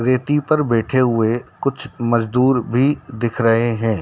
रेती पर बैठे हुए कुछ मज़दूर भी दिख रहे हैं।